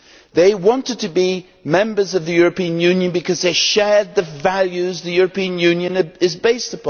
They wanted to be members of the European Union because they shared the values upon which the European Union is based.